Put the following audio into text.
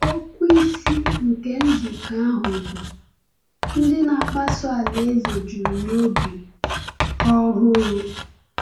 Okwu isi nke nzukọ ahụ bụ “Ndị Na-akpọsa Alaeze Juru N’obi Ọhụụ.”